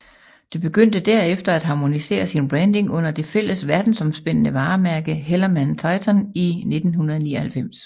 Det begyndte derefter at harmonisere sin branding under det fælles verdensomspændende varemærke HellermannTyton i 1999